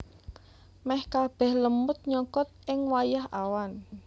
Meh kabeh lemut nyokot ing wayah awan